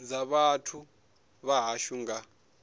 dza vhathu vha hashu nga